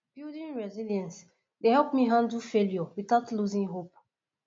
building resilience dey help me handle failure without losing hope